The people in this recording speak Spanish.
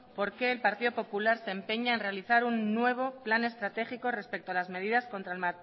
por qué el partido popular se empeña en realizar un nuevo plan estratégico respecto a las medidas contra el